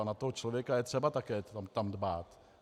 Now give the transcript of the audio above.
A na toho člověka je třeba tam také dbát.